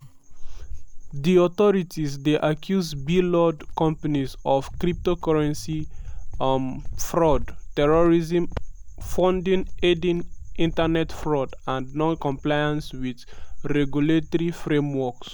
di authorities dey accuse blord companies of cryptocurrency um fraud terrorism funding aiding internet fraud and non-compliance wit regulatory frameworks.